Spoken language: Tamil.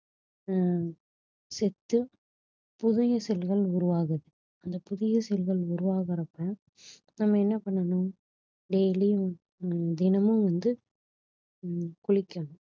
ஹம் செத்து புதிய cell கள் உருவாகுது அந்த புதிய cell கள் உருவாகறப்ப நம்ம என்ன பண்ணனும் daily யும் தினமும் வந்து ஹம் குளிக்கணும்